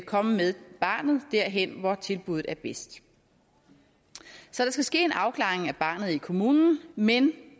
komme med barnet derhen hvor tilbudet er bedst så der skal ske en afklaring af barnet i kommunen men